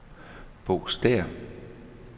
Bo Stæhr